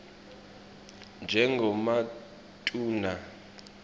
njengematuna